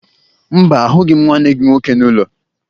Mba, ahụghị m nwanne gị nwoke n'ụlọ